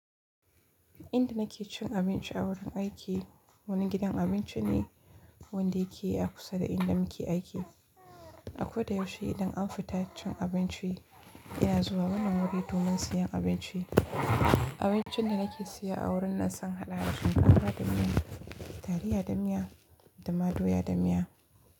Inda nake cin abinci a wurin aiki, wani gidan abinci ne wanda yake a kusa da inda muke aiki. A ko da yaushe idan an fita cin abinci ina zuwa wannan wuri domin siyan abinci. Abincin da nake siya a wurin nan sun hada da shinkafa da miya, taliya da miya da ma doya da miya.